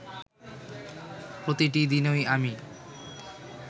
প্রতিটি দিনই আমি